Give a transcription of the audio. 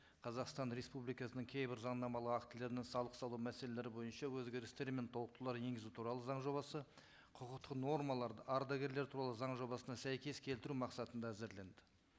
қазақстан республикасының кейбір заңнамалық актілеріне салық салу мәселелері бойынша өзгерістер мен толықтырулар енгізу туралы заң жобасы құқықтық нормаларды ардагерлер туралы заң жобасына сәйкес келтіру мақсатында әзірленді